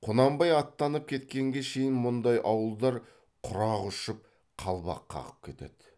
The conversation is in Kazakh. құнанбай аттанып кеткенге шейін мұндай ауылдар құрақ ұшып қалбақ қағып кетеді